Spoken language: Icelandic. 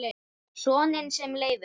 Soninn sem Leifur